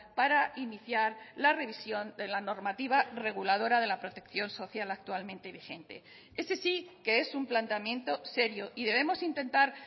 para iniciar la revisión de la normativa reguladora de la protección social actualmente vigente ese sí que es un planteamiento serio y debemos intentar